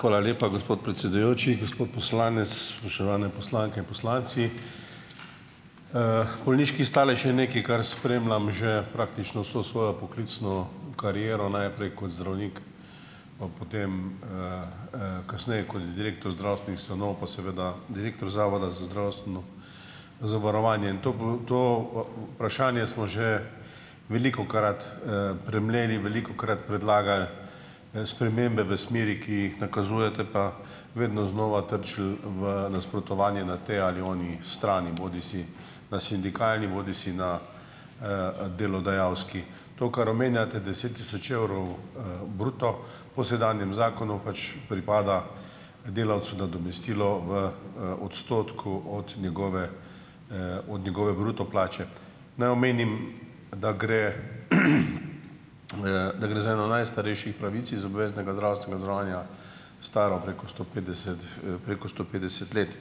Hvala lepa, gospod predsedujoči. Gospod poslanec, spoštovane poslanke in poslanci. Bolniški stalež je nekaj, kar spremljam že praktično vso svojo poklicno kariero, najprej kot zdravnik, pa potem kasneje kot direktor zdravstvenih ustanov, pa seveda direktor Zavoda za zdravstveno zavarovanje in to to vprašanje smo že velikokrat premleli velikokrat predlagal spremembe v smeri, ki jih nakazujete, pa vedno znova trčil v nasprotovanje na tej ali oni strani bodisi na sindikalni bodisi na delodajalski. To, kar omenjate deset tisoč evrov bruto, po sedanjem zakonu pač pripada delavcu nadomestilo v odstotku od njegove od njegove bruto plače. Naj omenim, da gre da gre za eno najstarejših pravic iz obveznega zdravstvenega zavarovanja staro preko sto petdeset preko sto petdeset let.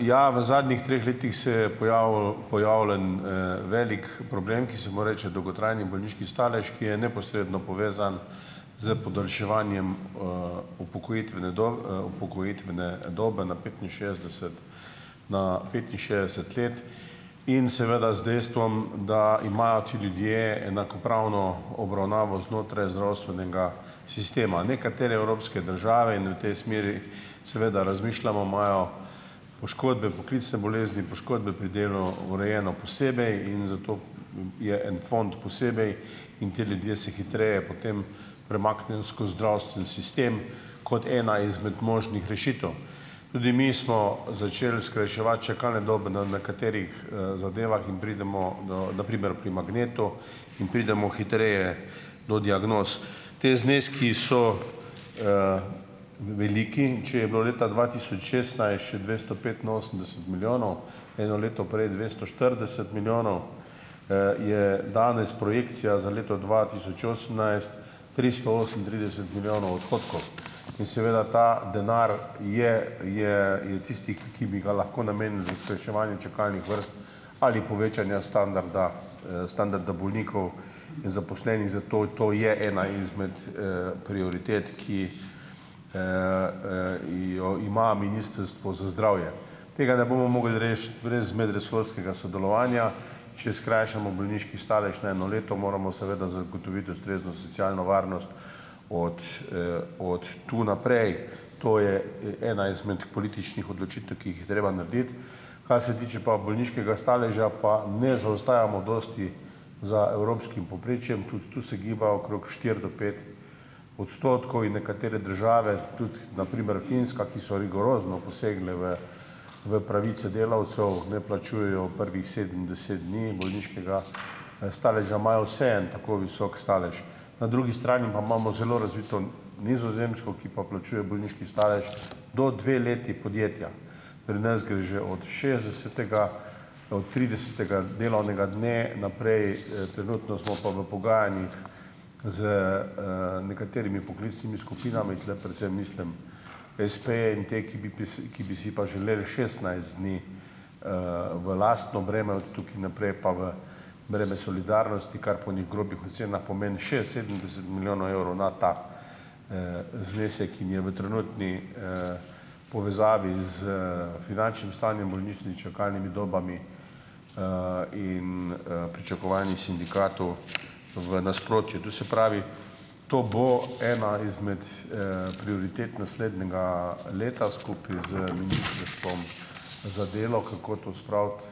Ja, v zadnjih treh letih se je pojavil pojavljen velik problem, ki se mu reče dolgotrajni bolniški stalež, ki je neposredno povezan s podaljševanjem upokojitvene upokojitvene dobe na petinšestdeset na petinšestdeset let in seveda z dejstvom, da imajo ti ljudje enakopravno obravnavo znotraj zdravstvenega sistema. Nekatere evropske države, in v tej smeri, seveda, razmišljamo, imajo poškodbe, poklicne bolezni, poškodbe pri delu urejeno posebej in zato je en fond posebej in ti ljudje se hitreje potem premaknejo skozi zdravstveni sistem, kot ena izmed možnih rešitev. Tudi mi smo začeli skrajševati čakalne dobe na nekaterih zadevah in pridemo do, na primer pri magnetu, in pridemo hitreje do diagnoz. Ti zneski so veliki. In če je bilo leta dva tisoč šestnajst še dvesto petinosemdeset milijonov, eno leto prej dvesto štirideset milijonov, je danes projekcija za leto dva tisoč osemnajst tristo osemintrideset milijonov odhodkov, in seveda ta denar je je tisti, ki bi ga lahko namenili skrajševanje čakalnih vrst ali povečanja standarda standarda bolnikov, in zaposlenih. Zato je to je ena izmed prioritet, ki jo ima Ministrstvo za zdravje. Tega ne bomo mogli rešiti brez medresorskega sodelovanja. Če skrajšamo bolniški stalež na eno leto moramo, seveda, zagotoviti ustrezno socialno varnost od od tu naprej. To je ena izmed političnih odločitev, ki jih je treba narediti. Kar se tiče pa bolniškega staleža, pa ne zaostajamo dosti za evropskim povprečjem, tudi tu se giba okrog štiri do pet odstotkov in nekatere države, tudi na primer Finska, ki so rigorozno posegle v v pravice delavcev, ne plačujejo prvih sedem, deset dni bolniškega staleža, imajo vseeno tako visok stalež. Na drugi strani pa imamo zelo razvito Nizozemsko, ki pa plačuje bolniški stalež do dve leti podjetja. Pri nas gre že od šestdesetega, od tridesetega delovnega dne naprej. Trenutno smo pa v pogajanjih z nekaterimi poklicnimi skupinami. Tule predvsem mislim espeje in te, ki bi pi ki bi si pa želeli šestnajst dni v lastno breme, od tukaj naprej pa v breme solidarnosti, kar po enih grobih ocenah pomeni še sedemdeset milijonov evrov na ta znesek in je v trenutni povezavi s finančnim stanjem bolnišnic s čakalnimi dobami in pričakovanji sindikatov v nasprotju. To se pravi, to bo ena izmed prioritet naslednjega leta skupaj z Ministrstvom za delo, kako to spraviti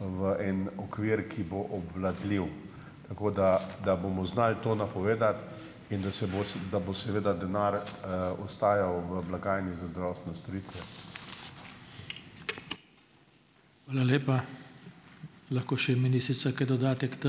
v en okvir, ki bo obvladljiv, tako da da bomo znali to napovedati in da se bo da bo seveda denar ostajal v blagajni za zdravstvene storitve.